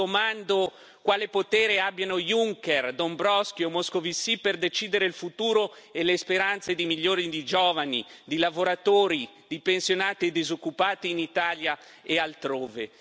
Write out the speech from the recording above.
Mi domando quale potere abbiano Junker, Dombrovskis o Moscovici per decidere il futuro e le speranze di milioni di giovani, di lavoratori, di pensionati e di disoccupati in Italia e altrove.